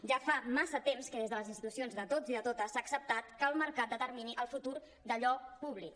ja fa massa temps que des de les institucions de tots i de totes s’ha acceptat que el mercat determini el futur d’allò públic